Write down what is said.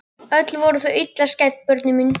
Öll voru þau illa skædd börnin mín.